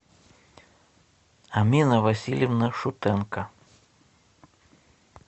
амина васильевна шутенко